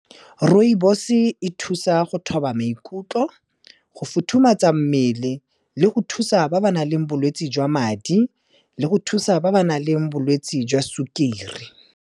Rooibos-e e thusa go thoba maikutlo, go futhumatsa mmele, le go thusa ba ba nang le bolwetse jwa madi, le go thusa ba ba nang le bolwetse jwa sukiri.